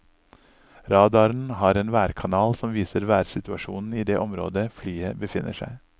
Radaren har en værkanal som viser værsituasjonen i det området flyet befinner seg.